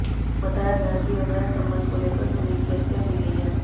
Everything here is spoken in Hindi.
बताया गया कि अवैध संबंध को लेकर समीर की हत्या की गई है